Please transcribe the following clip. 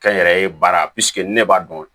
Kɛ n yɛrɛ ye baara ne b'a dɔn